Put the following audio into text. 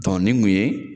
nin kun ye